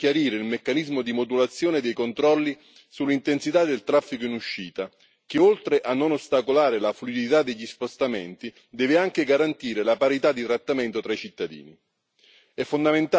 Ritengo sia necessario chiarire il meccanismo di modulazione dei controlli sull'intensità del traffico in uscita che, oltre a non ostacolare la fluidità degli spostamenti, deve anche garantire la parità di trattamento tra i cittadini.